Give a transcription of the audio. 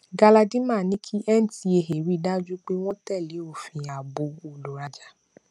galadima ní kí ncaa rí dájú pé wọn tẹlé òfin ààbò olùrajà